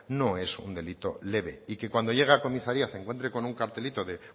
no es un delito leve y que cuando llegue a comisaría se encuentre con un cartelito de